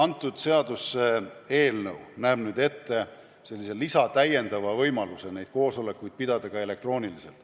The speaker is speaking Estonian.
See seaduseelnõu näeb ette täiendava võimaluse pidada neid koosolekuid ka elektrooniliselt.